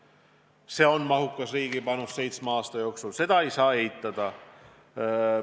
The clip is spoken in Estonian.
Jah, see on mahukas riigi panus seitsme aasta peale, seda ei saa eitada.